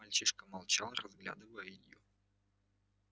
мальчишка молчал разглядывая её